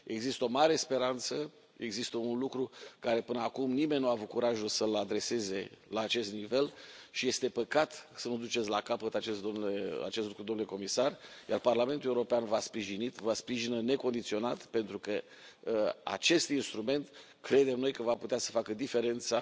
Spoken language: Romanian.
Există o mare speranță, există un lucru pe care până acum nimeni nu a avut curajul să l adreseze la acest nivel și este păcat să nu duceți la capăt acest lucru, domnule comisar, iar Parlamentul European v a sprijinit și vă sprijină necondiționat, pentru că acest instrument, credem noi, va putea să facă diferența